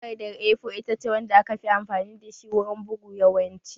Takardar A4 ita ce wanda aka fi amfani da shi wurin bugu yawanci